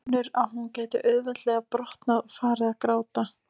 Finnur að hún gæti auðveldlega brotnað og farið að gráta.